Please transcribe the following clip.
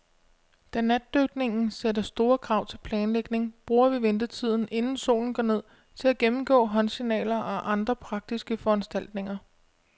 Da natdykning sætter store krav til planlægning, bruger vi ventetiden, inden solen går ned, til at gennemgå håndsignaler og andre praktiske foranstaltninger.